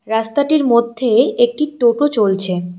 রাস্তাটির মধ্যে একটি টোটো চলছে।